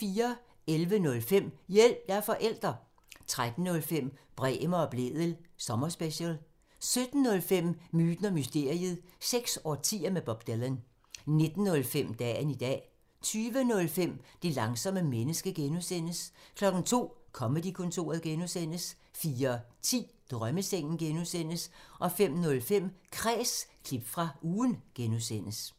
11:05: Hjælp – jeg er forælder! 13:05: Bremer og Blædel sommerspecial 17:05: Myten og mysteriet – seks årtier med Bob Dylan 19:05: Dagen i dag 20:05: Det langsomme menneske (G) 02:00: Comedy-kontoret (G) 04:10: Drømmesengen (G) 05:05: Kræs – klip fra ugen (G)